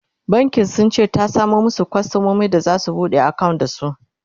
bankin sunce ta samo masu kwastamomi da zasu buɗe akawunt da su